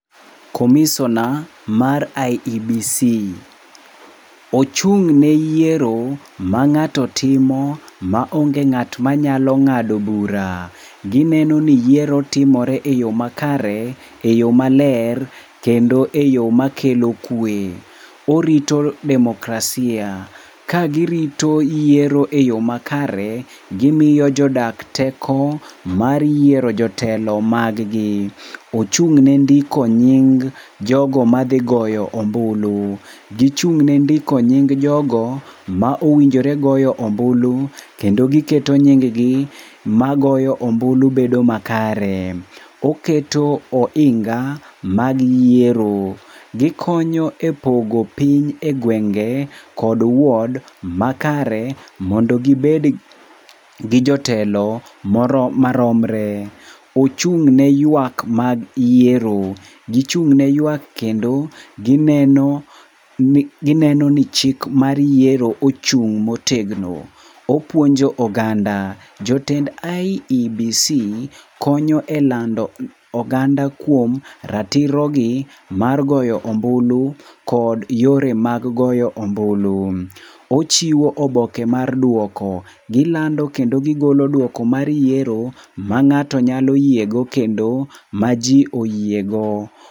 Komisona mar IEBC. Ochung' ne yiero ma ng'ato timo maonge ng'at manyalo ng'ado bura. Gineno ni yiero timore eyo makare eyo maler kendo eyo makelo kwe. Orito demokrasia kagirito yiero eyo makare. Gimiyo jodak teko mar yiero jotelo mag gi. Ochung' ne ndiko nying jogo madhi goyo ombulu. Gichung' ne ndiko nying jogo ma owinjore goyo ombulu kendo giketo nying gi magoyo mbulu bedo makare. Oketo ohinga mag yiero. Gikonyo epogo piny egwenge kod wod makare mondo gibed gi jotelo maromre. Ochung' ne yuak mag yiero. Gichung' ne yuak kendo, gineno ni chik mag yiero ochung' motegno. Opuonjo oganda. Jotend IEBC konyo elando oganda kuom ratirogi mar goyo ombulu kod yore mag goyo ombulu. Ochiwo oboke mar duoko. Gilando kendo gigolo duoko mar yiero mang'ato nyalo yiego kendo maji oyiego.